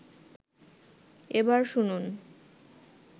এবার শুনুন